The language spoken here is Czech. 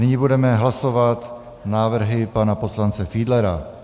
Nyní budeme hlasovat návrhy pana poslance Fiedlera.